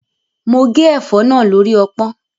Mo gé ẹ̀fọ́ náà lórí ọpọ́n.